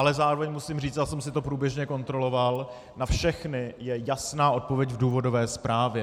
Ale zároveň musím říct, já jsem si to průběžně kontroloval, na všechny je jasná odpověď v důvodové zprávě.